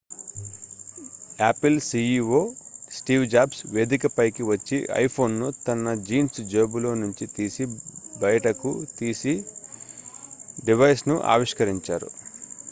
Apple CEO Steve Jobs వేదికపైకి వచ్చి iPhone ను తన జీన్స్ జేబులో నుంచి తీసి బయటకు తీసి డివైస్ ను ఆవిష్కరించారు